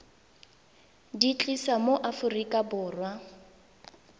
di tlisa mo aforika borwa